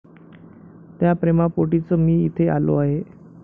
त्या प्रेमापोटीच मी इथे आलो आहे.